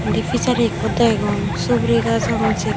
indi pisari ikko degong suguri gaj agon serbo.